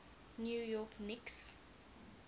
new york knicks